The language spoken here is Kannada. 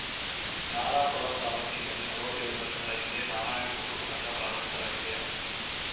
ನರಾಪುರ ತಾಲೂಕಿನಲ್ಲಿ ನಲವತ್ತೇಳು ವರ್ಷಗಳ ಹಿಂದೆ ನಾರಾಯಣ ಗುರು ಸಂಘ ಪ್ರಾರಂಭಿಸಲಾಗಿದೆ